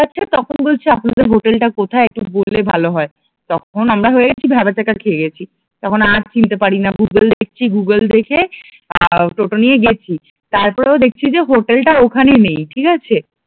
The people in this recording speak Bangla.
কিন্তু তখন বলছে আপনাদের হোটেল টা কোথায় একটু বললে ভালো হয় তখন আমরা হয়েগেছি ভ্যাবাচ্যাকা খেয়ে গেছি তখন আর চিনতে পারি না গুগল দেখছি, গুগল দেখে আহ টোটো নিয়ে গেছি, তারপর ও দেখছি যে হোটেল টা ওখানে নেই ঠিক আছে